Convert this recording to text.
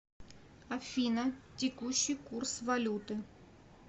афина текущий курс валюты